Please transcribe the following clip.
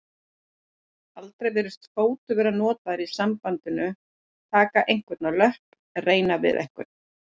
Aldrei virðist fótur vera notað í sambandinu taka einhvern á löpp reyna við einhvern.